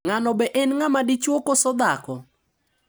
Ng`ano be en ng`ama dichwo koso dhako.